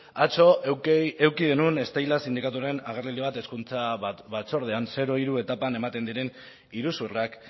atzo eduki genuen steilas sindikatuaren agerraldi bat hezkuntza batzordean zero hiru etapan ematen diren iruzurrak